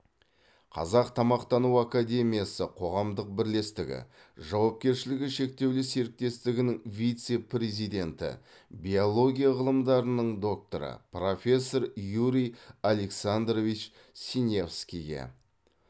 қазақ тамақтану академиясы қоғамдық бірлестігі жауапкершілігі шектеулі серіктестігінің вице президенті биология ғылымдарының докторы профессор юрий александрович синявскийге